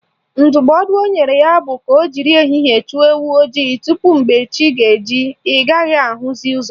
Ndụmọdụ o nyere ya bụ ka o jiri ehihie chụọ ewu ojii tupu mgbe chi ga-eji ị gaghị ahụzi ụzọ